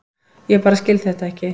Ég bara skil þetta ekki.